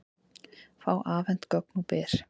Fá afhent gögn úr Byr